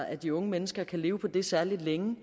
at de unge mennesker kan leve på det særlig længe